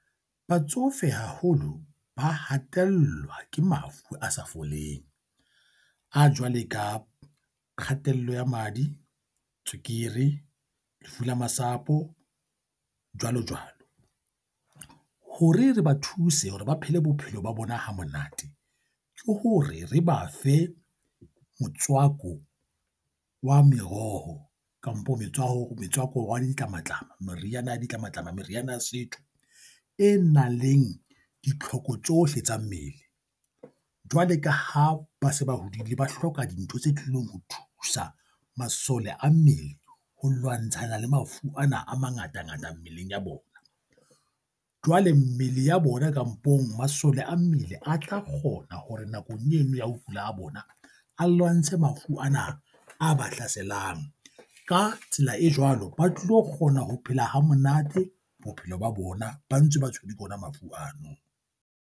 Batsofe, haholo ba hatellwa ke mafu a sa foleng a jwale ka kgatello ya madi, tswekere lefu la masapo, jwalo jwalo. Hore re ba thuse hore ba phele bophelo ba bona ha monate ke hore re ba fe motswako wa meroho kampo metswako metswako wa di ditlamatlama, meriana ya ditlamatlama, meriana ya setho e nang leng ditlhoko tsohle tsa mmele. Jwale ka ha ba se ba hodile, ba hloka dintho tse tlilong ho thusa masole a mmele ho lwantshana le mafu ana a mangatangata mmeleng ya bona. Jwale mmele ya bona kampong masole a mmele a tla kgona hore nakong eno ya ho kula ha bona a lwantshe mafu ana, a ba hlaselang. Ka tsela e jwalo, ba tlo kgona ho phela hamonate bophelong ba bona ba ntse ba tshwerwe ke ona mafu ano.